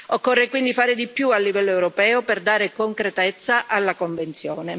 Occorre quindi fare di più a livello europeo per dare concretezza alla Convenzione.